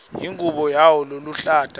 ingubo yawo leluhlata